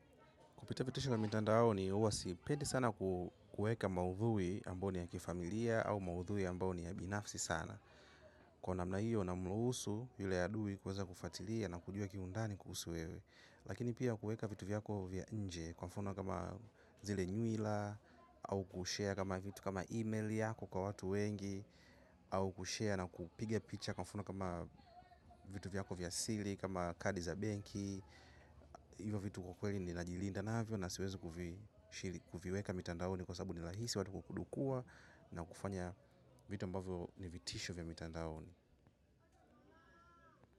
Kupata vitisho vya mtandaoni huwa sipendi sana kueka maudhui ambayo ni ya kifamilia au maudhui ambayo ni ya binafsi sana. Kwa namna hiyo namruhusu yule adui kuweza kufuatilia na kujua kiundani kuhusu wewe. Lakini pia kueka vitu vyako vya nje kwa mfano kama zile nywila au kushare kama vitu kama email yako kwa watu wengi au kushare na kupiga picha kwa mfano kama vitu vyako vya siri kama kadi za benki hivyo vitu kweli ninajilinda navyo na siwezi kuvi kuviweka mitandaoni kwa sababu ni rahisi watu kudukua na kufanya vitu ambavyo ni vitisho vya mitandaoni.